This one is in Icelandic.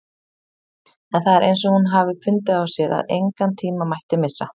En það er eins og hún hafi fundið á sér að engan tíma mætti missa.